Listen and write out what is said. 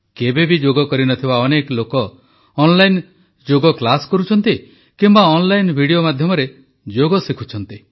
କେବେ ଯୋଗ କରିନଥିବା ଅନେକ ଲୋକ ଅନଲାଇନ୍ ଯୋଗ କ୍ଲାସ୍ କରୁଛନ୍ତି କିମ୍ବା ଅନଲାଇନ୍ ଭିଡିଓ ମାଧ୍ୟମରେ ଯୋଗ ଶିଖୁଛନ୍ତି